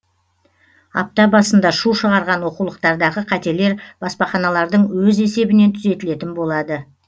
апта басында шу шығарған оқулықтардағы қателер баспаханалардың өз есебінен түзетілетін болады